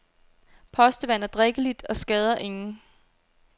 Postevand er drikkeligt og skader ingen.